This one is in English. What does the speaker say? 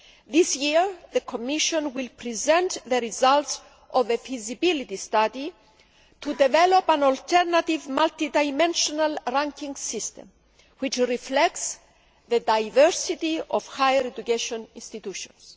This year, the Commission will present the results of a feasibility study to develop an alternative multi dimensional ranking system which reflects the diversity of higher education institutions.